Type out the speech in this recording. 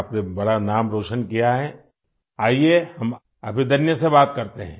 आपने बड़ा नाम रोशन किया है आईये हम अभिदन्या से बात करते हैं